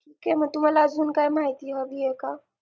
ते मग तुम्हाला अजून काही माहिती हवी आहे का